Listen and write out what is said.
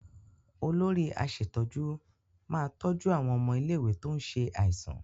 Olórí aṣètójú máa tọ́jú àwọn ọmọ ilé-ìwé tó ń ṣe àìsàn.